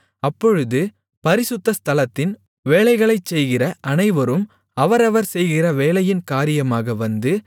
அப்பொழுது பரிசுத்த ஸ்தலத்தின் வேலைகளைச் செய்கிற அனைவரும் அவரவர் செய்கிற வேலையின் காரியமாக வந்து